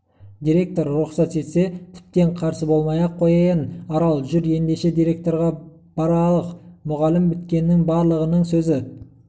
директор рұқсат етсе тіптен қарсы болмай-ақ қояйын арал жүр еңдеше директорға баралық мұғалім біткеннің барлығының сөзі